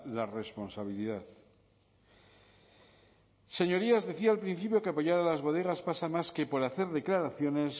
la responsabilidad señorías decía al principio que apoyar a las bodegas pasa más que por hacer declaraciones